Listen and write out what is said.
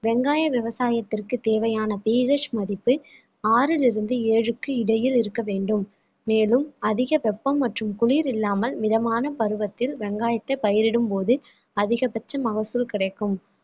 வெங்காய விவசாயத்திற்கு தேவையான பேரிஷ் மதிப்பு ஆறிலிருந்து ஏழுக்கு இடையில் இருக்க வேண்டும் மேலும் அதிக வெப்பம் மற்றும் குளிர் இல்லாமல் மிதமான பருவத்தில் வெங்காயத்தை பயிரிடும்போது அதிகபட்ச மகசூல் கிடைக்கும்